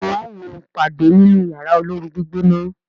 béèni wón wón pade nínú Yàrá olóoru-gbígbóná.